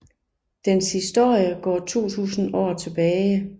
Dens historie går 2000 år tilbage